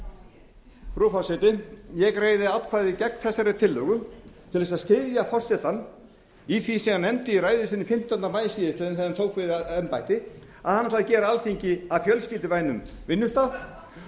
frú forseti ég greiði atkvæði gegn þessari tillögu til að styðja forsetann í því sem hann nefndi í ræðu sinni fimmtánda maí síðastliðinn þegar hann tók við embætti að hann ætlaði að gera alþingi að fjölskylduvænum vinnustað